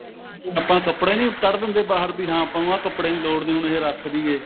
ਆਪਾਂ ਕੱਪੜੇ ਨਹੀਂ ਕੱਢ ਦਿੰਦੇ ਬਾਹਰ ਵੀ ਹਾਂ ਆਪਾਂ ਨੂੰ ਆਹ ਕੱਪੜੇ ਦੀ ਲੋੜ ਨਹੀਂ ਹੈਗੀ ਆਹ ਰੱਖਦੀਏ